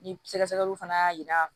Ni sɛgɛsɛgɛliw fana y'a jira